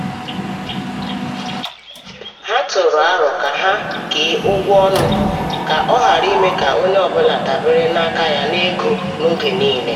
ọ tụrụ aro ka ha kee ụgwọ ọnụ ka ọ ghara ime ka onye ọ bụla dabere n’aka ya n’ego n’oge niile.